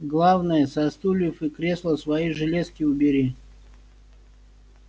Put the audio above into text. главное со стульев и кресла свои железки убери